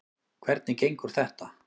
Hvernig gengur þetta?